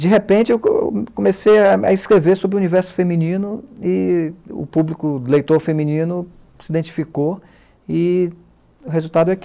De repente, eu co comecei a escrever sobre o universo feminino e o público, o leitor feminino, se identificou e o resultado é que